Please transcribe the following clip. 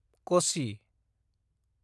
कसि